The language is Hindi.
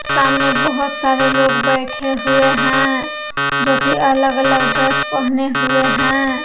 सामने बहुत सारे लोग बैठे हुए हैं जो की अलग अलग ड्रेस पहने हुए हैं।